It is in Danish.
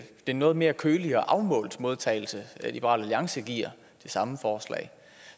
en noget mere kølig og afmålt modtagelse liberal alliance giver det samme forslag